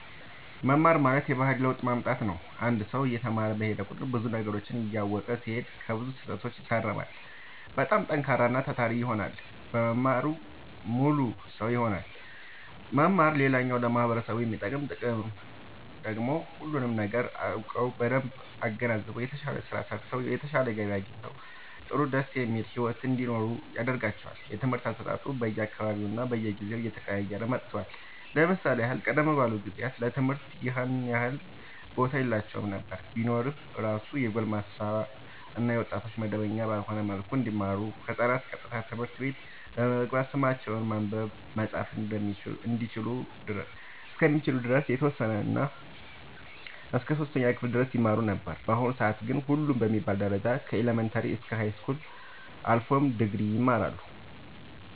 መማር ማለት የባህሪ ለውጥ ማምጣት ነው አንድ ሰው እየተማረ በሄደ ቁጥር ብዙ ነገሮችን እያወቀ ሲሄድ ከብዙ ስህተቶች ይታረማል በጣም ጠንካራና ታታሪ ይሆናል መማር ሙሉ ሰው ያደርጋል መማር ሌላኛው ለማህበረሰቡ የሚሰጠው ጥቅም ደግሞ ሁሉንም ነገር አውቀው በደንብ አገናዝበው የተሻለ ስራ ሰርተው የተሻለ ገቢ አግኝተው ጥሩ ደስ የሚል ሒወት እንዲኖሩ ያደርጋቸዋል። የትምህርት አሰጣጡ በየ አካባቢውና በየጊዜው እየተቀያየረ መጥቷል ለምሳሌ ያህል ቀደም ባሉት ጊዜያት ለትምህርት ይኸን ያህል ቦታ የላቸውም ነበር ቢኖር እራሱ የጎልማሳ እና የወጣቶች መደበኛ ባልሆነ መልኩ እንዲሁም ህፃናት ቀጥታ ትምህርት ቤት በመግባት ስማቸውን ማንበብ መፃፍ እስከሚችሉ ድረስ የተወሰነ እስከ 3ኛ ክፍል ድረስ ይማሩ ነበር በአሁኑ ሰአት ግን ሁሉም በሚባል ደረጃ ከኢለመንታሪ እስከ ሀይስኩል አልፎም ድግሪ ይማራሉ